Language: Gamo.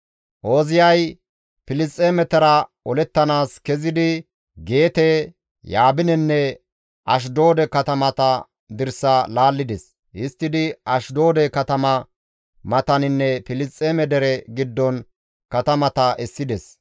Ooziyay Filisxeemetara olettanaas kezidi Geete, Yaabinenne Ashdoode katamata dirsa laallides; histtidi Ashdoode katama mataninne Filisxeeme dere giddon katamata essides.